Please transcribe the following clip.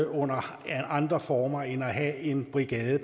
under andre former end ved at have en brigade